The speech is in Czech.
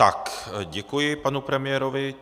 Tak děkuji panu premiérovi.